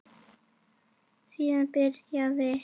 Síðan byrjaði